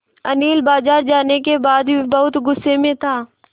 अनिल बाज़ार जाने के बाद भी बहुत गु़स्से में था